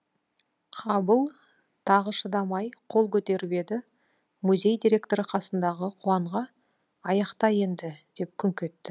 қабыл тағы шыдамай қол көтеріп еді музей директоры қасындағы қуанға аяқта енді деп күңк етті